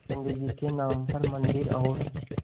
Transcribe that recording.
पंडित जी के नाम पर मन्दिर और